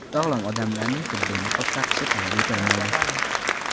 Sog‘lom odamlarning tibbiy niqob taqishi talab etilmaydi.